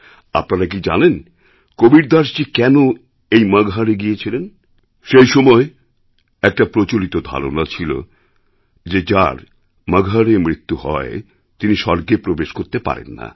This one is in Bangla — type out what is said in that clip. আপনারা কি জানেন কবীরদাসজী কেন এই মগহরএ গিয়েছিলেন সেই সময়ে একটি প্রচলিত ধারণা ছিল যে যার মগহরএ মৃত্যু হয় তিনি স্বর্গে প্রবেশ করতে পারেন না